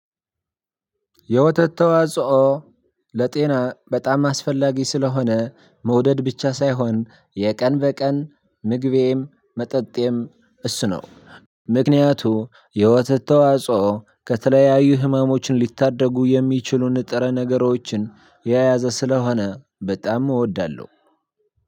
የወተት ተዋጽኦ ለጤና በጣም አስፈላጊ ስለሆነ መውደድ ብቻ ሳይሆን የቀን በቀን ምግቤም መጠጤም እሱ ነው። ምክንያቱ የወተት ተዋጽኦ ከተለያዩ ህመሞች ልታደጉ የሚችሉ ንጥረነገሮችን የያዘ ስለሆነ በጣም እወዳለሁ።